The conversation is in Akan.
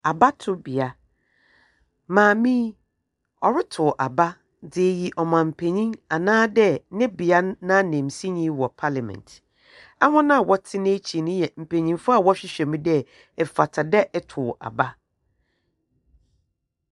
Abatowbea, mmame yi, ɔretow aba dze ayi ɔman panyin anaadɛ ne bea no n'anansinyi wɔ parlimɛnt. Ahɔn a wɔte n'ekyir no yɛ mpenyimfo a wɔrehwehwɛm dɛ, efata dɛ etow aba.